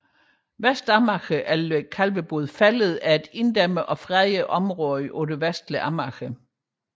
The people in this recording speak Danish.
Vestamager eller Kalvebod Fælled er et inddæmmet og fredet område på det vestlige Amager